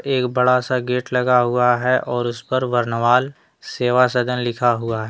एक बड़ा सा लगा हुआ है और उस पर बरनवाल सेवा सदन लिखा हुआ है।